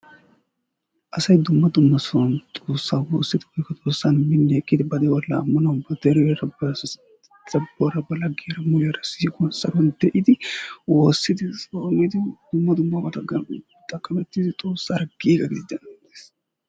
Asay dumma dumma sohuwan xoossa woossidi woyikko xoossan minni ekkidi ba de"uwa laammanawu ba deriyaara ba dabbuwaara ba laggiyaara siiquwan saruwan de"idi woossidi tsoomidi dumma dummabatakka xaqqamettidi xoossaara giiga gididi daanawu bessees.